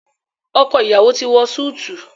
ọkọ iyawo ti wọ Súìtì